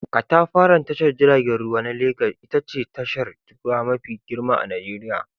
Katafaren tashar jiragen ruwa na Legas ita ce tashar ruwa mafi girma a Nijeriya.